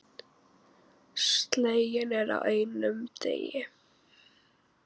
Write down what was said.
Sleginn er á einum degi.